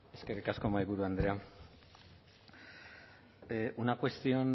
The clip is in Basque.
eskerrik asko mahaiburu andrea una cuestión